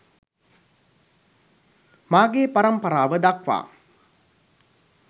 මාගේ පරම්පරාව දක්වා